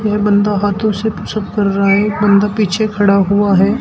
और बंदा हाथों से पुस अप कर रहा है एक बंदा पीछे खड़ा हुआ है।